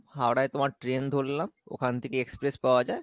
হাওড়ায় তোমার train ধরলাম ওখান থেকে express পাওয়া যাই